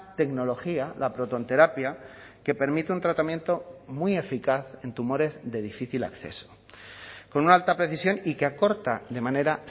tecnología la protonterapia que permite un tratamiento muy eficaz en tumores de difícil acceso con una alta precisión y que acorta de manera